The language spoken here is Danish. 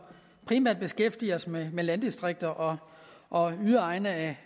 primært beskæftiger sig med landdistrikter og og yderegne af